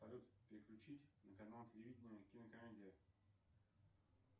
салют переключить на канал телевидения кинокомедия